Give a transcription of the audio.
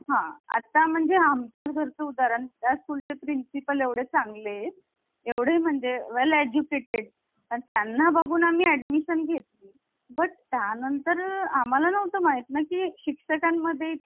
अह केंद्रातर्फे राज्यपाल नेमण्याची जी पद्धत आहे ती आपण कॅनडाकडून घेतलेली आहे. आणि अजूनही एक last गोष्ट आहे संघराज्य हि शासन पद्धती भारताच संघराज्य हे